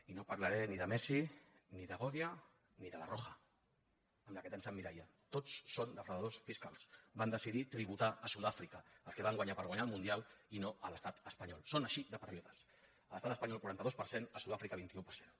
i no parlaré ni de messi ni de godia ni de la roja en la qual tant s’emmirallen tots són defraudadors fiscals van decidir tributar a sud àfrica el que van guanyar per guanyar el mundial i no a l’estat espanyol són així de patriotes a l’estat espanyol quaranta dos per cent a sud àfrica vint un per cent